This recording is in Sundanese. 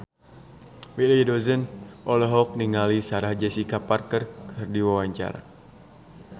Willy Dozan olohok ningali Sarah Jessica Parker keur diwawancara